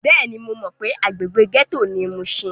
Bẹ́ẹ̀ni, mo mọ pé agbègbè gẹ́tò ni mushin.